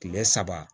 Kile saba